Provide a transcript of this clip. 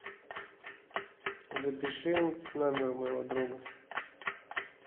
запиши номер моего друга